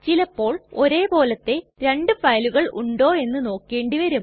ചിലപ്പോൾ ഒരേ പോലത്തെ രണ്ടു ഫയലുകൾ ഉണ്ടോ എന്ന് നോക്കേണ്ടി വരും